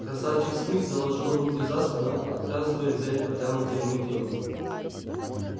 красавчик смит заложил руки за спину отказываясь взять протянутые ему деньги